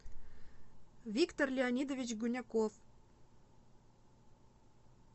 виктор леонидович гуняков